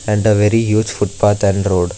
And the very huge footpath and road.